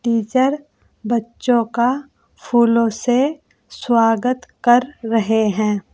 Teacher बच्चों का फूलों से स्वागत कर रहे हैं।